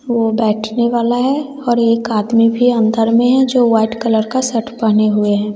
वो बैठने वाला है और एक आदमी भी अंदर में है जो व्हाइट कलर का शर्ट पहने हुए हैं।